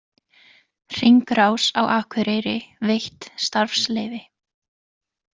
Hringrás á Akureyri veitt starfsleyfi